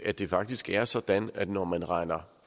at det faktisk er sådan at når man regner